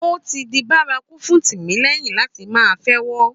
Ó ti di bárakú fún Tìmílẹ́yìn láti máa fẹ́wọ́